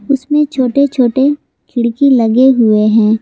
उसमें छोटे छोटे खिड़की लगे हुए हैं।